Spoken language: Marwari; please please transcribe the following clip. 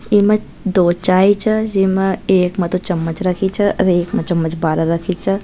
एमा दो चाय च जेमा एक मतो चमच रखी च और एक में चमच बहार रखी च।